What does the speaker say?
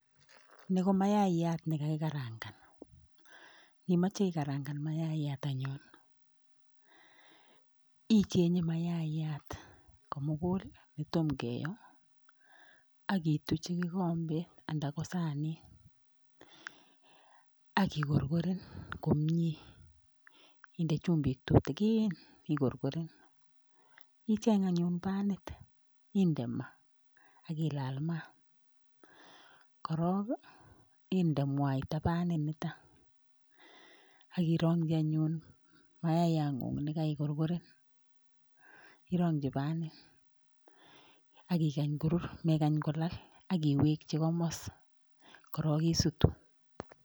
Ni ko mayayat nekakikandaan, yon imoche ikarangaan mayaat anyun ikenyee mayaayat komugul kotom kiyoo ak ituchi kikombet ana ko sanit ak ikorkoreen komie, indee chumbik tutigin ak igorkoren. Icheng anyun paint ak inde maa ak ilaal maat .Korong indee mwaita panit nikan, ak irongchi anyun mayayangung nekaikorgoren irogyii paint. Ak ikany korur, mekany kolal ak iwekchi komostongoo, yerog isutuu.